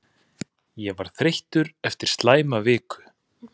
Ég var þreyttur eftir slæma viku.